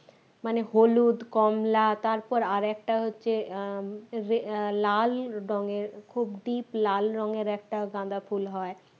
মানে হলুদ কমলা তারপর আরেকটা হচ্ছে আহ উম লাল রঙের খুব deep লাল রঙের একটা গাঁদা ফুল হয়